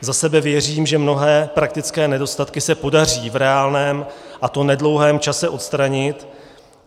Za sebe věřím, že mnohé praktické nedostatky se podaří v reálném, a to nedlouhém čase odstranit.